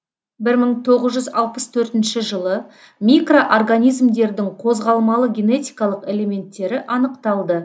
бір мың тоғыз жүз алпыс төртінші жылы микроорганизмдердің қозғалмалы генетикалық элементтері анықталды